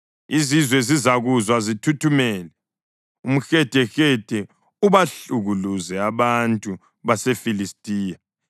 Izizwe zizakuzwa zithuthumele; umhedehede ubahlukuluze abantu baseFilistiya.